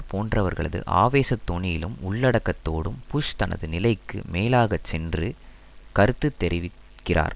போன்றவர்களது ஆவேசதொனியிலும் உள்ளடக்கத்தோடும் புஷ் தனது நிலைக்கு மேலாக சென்று கருத்து தெரிவித்திருக்கிறார்